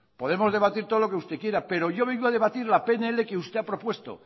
podemos debatir todo lo que usted quiera pero yo vengo a debatir la pnl que usted ha propuesto